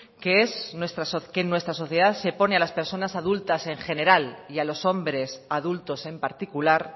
que es que en nuestra se pone a las personas adultas en general y a los hombres adultos en particular